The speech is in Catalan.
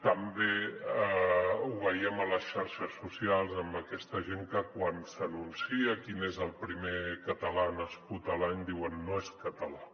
també ho veiem a les xarxes socials amb aquesta gent que quan s’anuncia quin és el primer català nascut a l’any diuen no és català